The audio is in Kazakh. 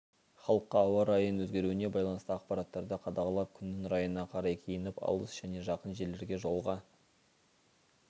халыққа ауа райының өзгеруіне байланысты ақпараттарды қадағалап күннің райына қарай киініп алыс және жақын жерлерге жолға